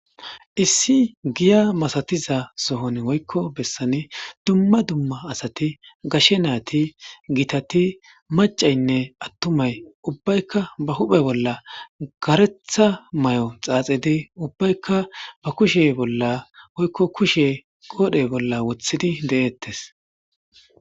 issi giya masatiza sohon woykko bessani dumma dumma asati gashe naati gitati macaynne attumay ubbaykka ba huphe bolla garetha may7o xaaxidi ubbaykka ba kushe bolla oykko kushe qoodhe bolla wothidi de7eettes